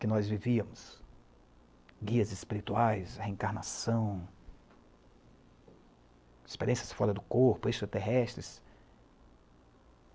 que nós vivíamos, guias espirituais, reencarnação, experiências fora do corpo, extraterrestres.